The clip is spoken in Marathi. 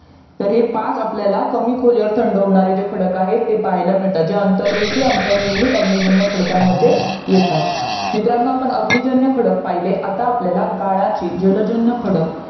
तर हे पाच आपल्याला कमी खोलीवर थंड होणारे जे खडक आहेत ते पाहायला मिळतात जे अंतरवेशीय निर्मित अग्निजन्य खडकामध्ये येतात मित्रांनो अग्निजन्य खडक पाहिले आता आपल्याला गाळाची जलजन्य खडक